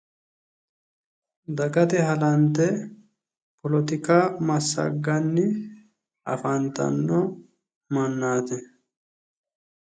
Dagate halante polotika massagganni afantanno mannaati